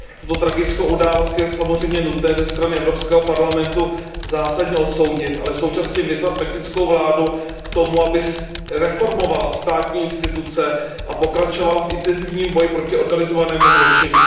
Tuto tragickou událost je samozřejmě nutné ze strany Evropského parlamentu zásadně odsoudit, ale současně vyzvat mexickou vládu k tomu, aby reformovala státní instituce a pokračovala v intenzivním boji proti organizovanému zločinu.